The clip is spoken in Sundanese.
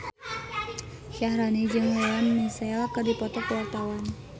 Syaharani jeung Lea Michele keur dipoto ku wartawan